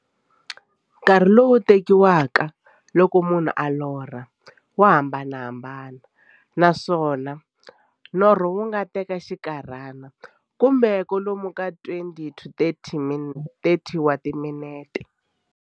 Nkarhi lowu tekiwaka loko munhu a lorha, wa hambanahambana, naswona norho wu nga teka xinkarhana, kumbe kwalomu ka 20-30 wa timinete.